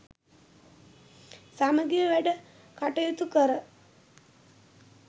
සමගිව වැඩ කටයුතු කර